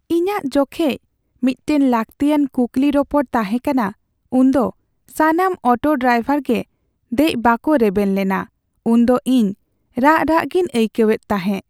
ᱤᱧᱟᱹᱜ ᱡᱚᱠᱷᱮᱡ ᱢᱤᱫᱴᱟᱝ ᱞᱟᱹᱠᱛᱤᱭᱟᱱ ᱠᱩᱠᱞᱤ ᱨᱚᱯᱚᱲ ᱛᱟᱦᱮᱸ ᱠᱟᱱᱟ ᱩᱱ ᱫᱚ ᱥᱟᱱᱟᱢ ᱚᱴᱚ ᱰᱨᱟᱭᱵᱷᱟᱨ ᱜᱮ ᱫᱮᱡ ᱵᱟᱠᱚ ᱨᱮᱵᱮᱱ ᱞᱮᱱᱟ ᱩᱱ ᱫᱚ ᱤᱧ ᱨᱟᱜ ᱨᱟᱜ ᱜᱤᱧ ᱟᱹᱭᱠᱟᱹᱣᱮᱫ ᱛᱟᱦᱮᱸ ᱾